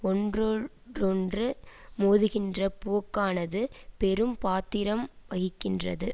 ஒன்றோடொன்று மோதுகின்ற போக்க்கானது பெரும் பாத்திரம் வகிக்கின்றது